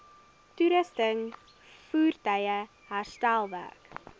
toerusting voertuie herstelwerk